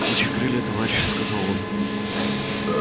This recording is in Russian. птичьи крылья товарищи сказал он